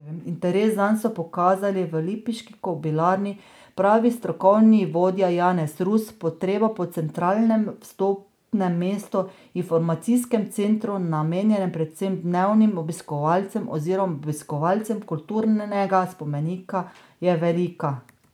Interes zanj so pokazali v lipiški kobilarni, pravi strokovni vodja Janez Rus: 'Potreba po centralnem vstopnem mestu, informacijskem centru, namenjenem predvsem dnevnim obiskovalcem oziroma obiskovalcem kulturnega spomenika, je velika.